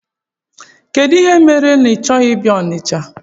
Kedụ ihe mere na ị chọghị ịbịa Ọnịcha?